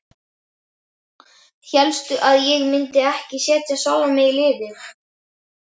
Hélstu að ég myndi ekki setja sjálfan mig í liðið?